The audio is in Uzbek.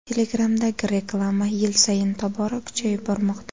Telegram’dagi reklama yil sayin tobora kuchayib bormoqda.